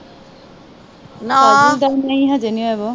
ਕਾਜਲ ਦਾ ਨਹੀਂ ਹਜੇ ਨਹੀਂ ਹੋਇਆ ਬਾਊ।